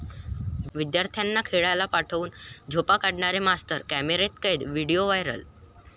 विद्यार्थ्यांना खेळायला पाठवून झोपा काढणारे मास्तर कॅमेऱ्यात कैद, व्हिडिओ व्हायरल!